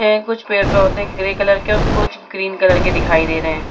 है कुछ पेड़-पौधे ग्रे कलर के और कुछ ग्रीन कलर के दिखाई दे रहें हैं।